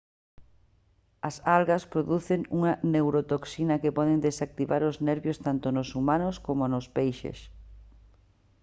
as algas producen unha neurotoxina que pode desactivar os nervios tanto nos humanos coma nos peixes